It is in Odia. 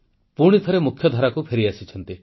ପୁଣିଥରେ ମୁଖ୍ୟଧାରାକୁ ଫେରିଆସିଛନ୍ତି